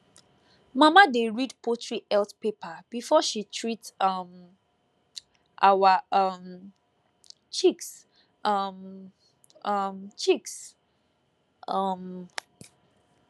mama dey read poultry health paper before she treat um our um chicks um um chicks um